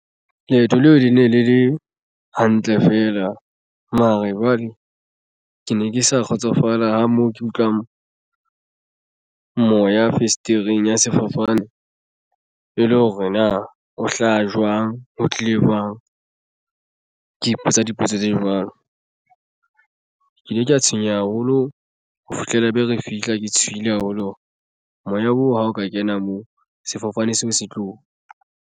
Leeto leo le ne le le hantle fela mare jwale ke ne ke sa kgotsofala moo ke utlwang moya fesetereng ya sefofane. E le hore na o hlaha jwang ho tlile jwang. Ke ipotsa dipotso tse jwalo ke ile ka tshwenya haholo ho fihlela be re fihla ke tshohile haholo hore moya oo ha o ka kena moo sefofane seo se tlo.